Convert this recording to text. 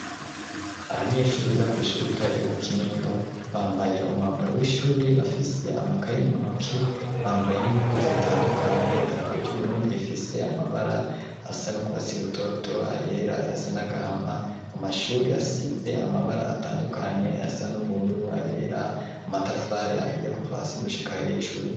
Abanyeshuri biga ku ishuri itore ryo mu kinindo bambaye umwambaro w'ishuri bafise amakayi mu ntuki bambaye n'impuzu zitandukanye idarapo ry'uburundi rifise amabara asa n'urwasi rutoto ayera yasa nagahama amashuri asitse amabara atandukanye yasa n'ubururu ayera amatafari ahiye kuvasi gushika hejuru.